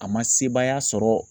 A ma sebaaya sɔrɔ